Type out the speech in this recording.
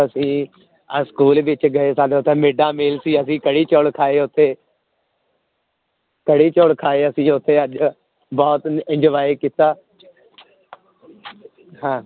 ਅਸੀਂ ਅੱਜ school ਵਿੱਚ ਗਏ ਸਾਡਾ ਉੱਥੇ mid day meal ਸੀ ਅਸੀਂ ਕੜੀ ਚੋਲ ਖਾਏ ਉੱਥੇ ਕੜੀ ਚੋਲ ਖਾਏ ਅਸੀਂ ਉੱਥੇ ਅੱਜ ਬਹੁਤ enjoy ਕੀਤਾ ਹਾਂ